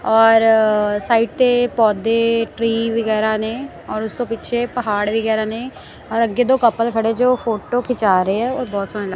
ਔਰ ਸਾਈਡ ਤੇ ਪੌਧੇ ਟਰੀ ਵਗੈਰਾ ਨੇ ਔਰ ਉਸ ਤੋਂ ਪਿੱਛੇ ਪਹਾੜ ਵਗੈਰਾ ਨੇ ਔਰ ਅੱਗੇ ਦੋ ਕਪਲ ਖੜੇ ਜੋ ਫੋਟੋ ਖਿਚਾ ਰਹੇ ਆ ਔਰ ਬਹੁਤ ਸੋਹਣਾ--